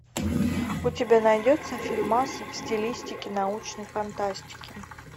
у тебя найдется фильмас в стилистике научной фантастики